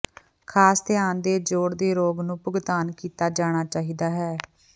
ਖਾਸ ਧਿਆਨ ਦੇ ਜੋਡ਼ ਦੇ ਰੋਗ ਨੂੰ ਭੁਗਤਾਨ ਕੀਤਾ ਜਾਣਾ ਚਾਹੀਦਾ ਹੈ